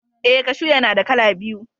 Eh, kashu yana da kala biyu.